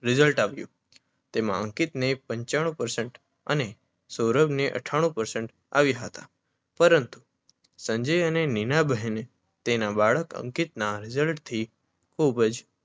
rizalt આવ્યું. તેમાં અંકિતને પંચાણું પરસ્ન્ટ અને સૌરભને અથાણું પરસન્ટ આવ્યા હતા. પરંતુ સંજય અને નીનાબહેને તેના બાળક અંકિતના રિઝલ્ટ થી ખુબ જ